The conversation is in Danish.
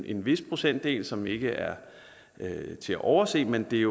en vis procentdel som ikke er til at overse men det